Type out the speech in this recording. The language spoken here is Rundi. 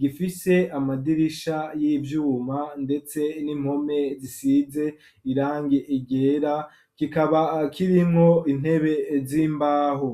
gifise amadirisha y'ivyuma, ndetse n'impome, zisize irangi ryera; kikaba kirimwo intebe, z'imbaho.